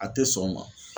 A tɛ sɔn o ma